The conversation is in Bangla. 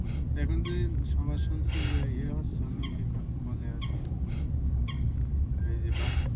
এখন যে আবার শুনছি যে এই হচ্ছে ওর নাম কি বলে আরকি